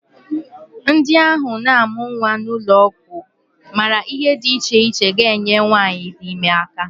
Ndị ahụ na-amụ nnwa n'ụlọọgwụ maara ihe dị iche iche ga-enyere nwaanyị di ime aka